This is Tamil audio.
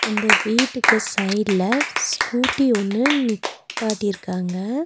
இந்த வீட்டுக்கு சைடுல ஸ்கூட்டி ஒன்னு நிப் பாட்டிருக்காங்க.